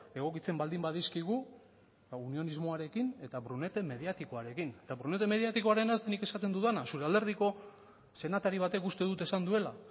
egokitzen baldin badizkigu unionismoarekin eta brunete mediatikoarekin eta brunete mediatikoarena nik esaten dudana zure alderdiko senatari batek uste dut esan duela